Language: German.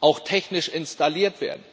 auch technisch installiert werden.